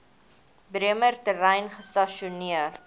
bremer terrein gestasioneer